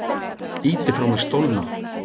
Ýti frá mér stólnum.